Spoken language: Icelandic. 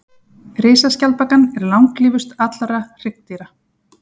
risaskjaldbakan er langlífust allra hryggdýra